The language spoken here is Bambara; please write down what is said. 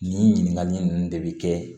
Nin ɲininkakali ninnu de bi kɛ